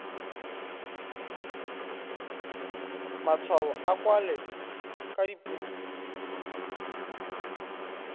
matshwao a kwalwe ka dipuo